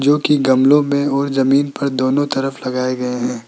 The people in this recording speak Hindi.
जो कि गमलों में और जमीन पर दोनों तरफ लगाए गए हैं।